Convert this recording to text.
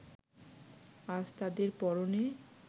আজ তাদের পরনে